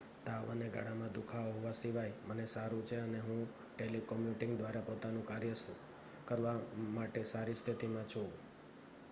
"""તાવ અને ગળામાં દુખાવો હોવા સિવાય મને સારું છે અને હું ટેલિકોમ્યુટીંગ દ્વારા પોતાનું કાર્ય કરવા માટે સારી સ્થિતિમાં છું.